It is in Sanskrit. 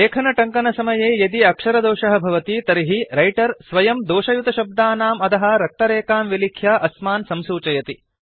लेखनटङ्कनसमये यदि अक्षरदोषः भवति तर्हि रैटर् स्वयं दोषयुतशब्दानाम् अधः रक्तरेखां विलिख्य अस्मान् संसूचयति